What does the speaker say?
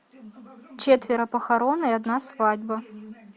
четверо похорон и одна свадьба